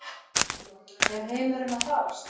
Er heimurinn að farast?